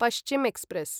Paschim express